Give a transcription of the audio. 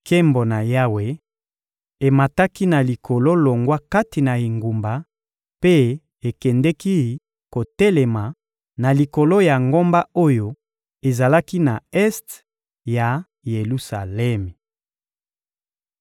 Nkembo na Yawe emataki na likolo longwa kati na engumba mpe ekendeki kotelema na likolo ya ngomba oyo ezalaki na este ya Yelusalemi.